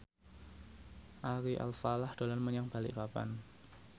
Ari Alfalah dolan menyang Balikpapan